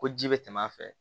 Ko ji bɛ tɛmɛ a fɛ